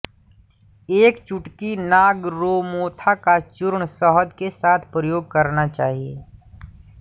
एक चुटकी नागरमोथा का चूर्ण शहद के साथ प्रयोग करना चाहिए